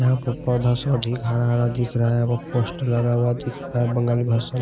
यहां पर पौधा से अधिक हरा दिख रहा है पोस्ट लगा हुआ दिख रहा है बंगाली भाषा में--